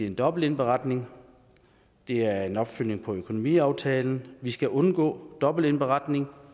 om dobbeltindberetning det er en opfølgning på økonomiaftalen vi skal undgå dobbeltindberetning